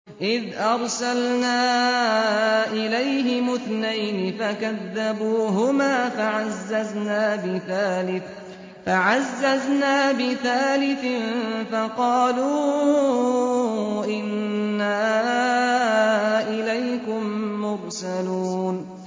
إِذْ أَرْسَلْنَا إِلَيْهِمُ اثْنَيْنِ فَكَذَّبُوهُمَا فَعَزَّزْنَا بِثَالِثٍ فَقَالُوا إِنَّا إِلَيْكُم مُّرْسَلُونَ